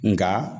Nga